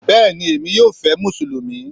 Bẹ́ẹ̀ni Emi yóò fé musulumi